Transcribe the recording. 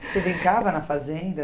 Você brincava na fazenda?